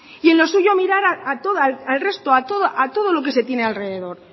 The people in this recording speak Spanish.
y en lo suyo mirar al resto a todo lo que se tiene alrededor